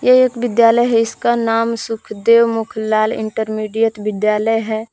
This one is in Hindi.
ये एक विद्यालय है इसका नाम सुखदेव मुखलाल इंटरमीडिएट विद्यालय है।